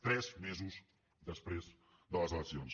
tres mesos després de les eleccions